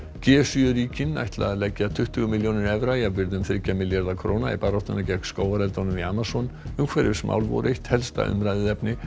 g sjö ríkin ætla að leggja tuttugu milljónir evra jafnvirði um þriggja milljarða króna í baráttuna gegn skógareldunum í Amazon umhverfismál voru eitt helsta umræðuefnið